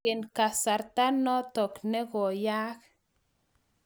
Angen kasarta notok ne koyaak